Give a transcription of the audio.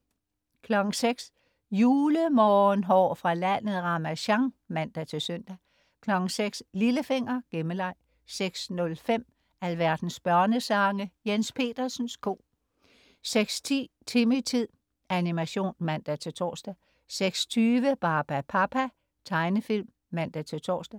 06.00 Julemorgenhår fra landet Ramasjang (man-søn) 06.00 Lillefinger. Gemmeleg 06.05 Alverdens børnesange. Jens Petersens ko 06.10 Timmy-tid. Animation (man-tors) 06.20 Barbapapa. Tegnefilm (man-tors)